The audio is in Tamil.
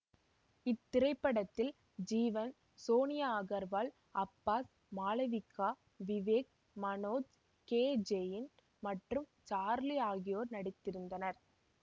இத்திரைப்படத்தில் ஜீவன் சோனியா அகர்வால் அப்பாஸ் மாளவிகா விவேக் மனேஜ் கே ஜெயின் மற்றும் சார்லி ஆகியோர் நடித்திருந்தனர்